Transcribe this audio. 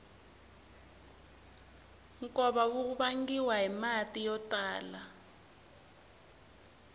nkova wu vangiwa hi mati yo tala